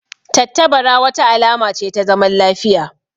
Tattabara wata alama ce ta zaman lafiya